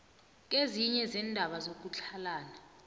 kezinye zeendaba zokutlhalana